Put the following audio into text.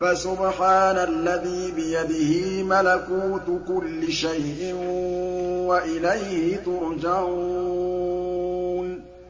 فَسُبْحَانَ الَّذِي بِيَدِهِ مَلَكُوتُ كُلِّ شَيْءٍ وَإِلَيْهِ تُرْجَعُونَ